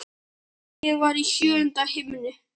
Ég var í sjöunda himni.